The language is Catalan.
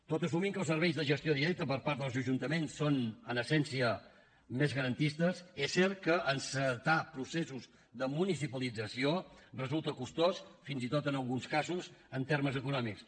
tot assumint que els serveis de gestió directa per part dels ajuntaments són en essència més garantistes és cert que encetar processos de municipalització resulta costós fins i tot en alguns casos en termes econòmics